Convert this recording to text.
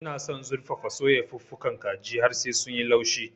Ina son zurfafa-soya fuka-fukan kaji har sai sun yi laushi.